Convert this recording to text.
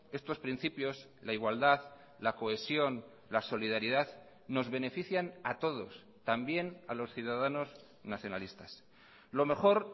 estos principios la igualdad la cohesión la solidaridad nos benefician a todos también a los ciudadanos nacionalistas lo mejor